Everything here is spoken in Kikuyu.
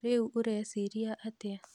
Rĩũ ũreciria atĩa?